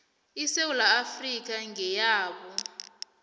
isewula afrika ngeyabo